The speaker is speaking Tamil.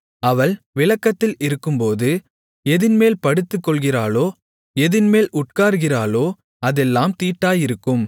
அவள் விலக்கத்தில் இருக்கும்போது எதின்மேல் படுத்துக்கொள்ளுகிறாளோ எதின்மேல் உட்காருகிறாளோ அதெல்லாம் தீட்டாயிருக்கும்